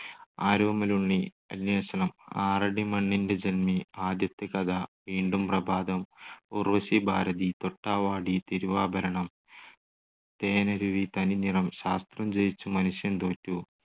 ആരോമലുണ്ണി, അന്വേഷണം, ആറടിമണ്ണിന്റെ ജന്മി, ആദ്യത്തെ കഥ, വീണ്ടും പ്രഭാതം, ഉർവ്വശി ഭാരതി, തൊട്ടാവാടി, തിരുവാഭരണം. തേനരുവി, തനിനിറം, ശാസ്ത്രം ജയിച്ചു മനുഷ്യൻ തോറ്റു,